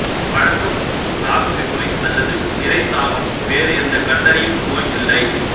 பழக்கம் தாக மிகுமை அல்லது நிறைத்தாகம் வேறு எந்த கண்டறியும் நோய் இல்லை